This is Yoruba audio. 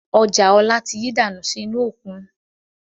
Ọjà ọ̀la tí yí dànù sì inú òkun